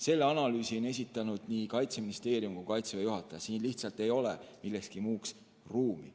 Selle analüüsi on esitanud nii Kaitseministeerium kui ka Kaitseväe juhataja, siin lihtsalt ei ole millekski muuks ruumi.